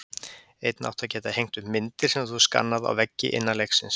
Einnig áttu að geta hengt upp myndir, sem þú hefur skannað, á veggi innan leiksins.